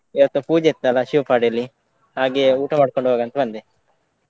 ಇವತ್ತು ಪೂಜೆ ಇತ್ತಲ್ಲ Shivapadi ಯಲ್ಲಿ ಹಾಗೆ ಊಟ ಮಾಡ್ಕೊಂಡು ಹೋಗ್ವ ಅಂತ ಬಂದೆ.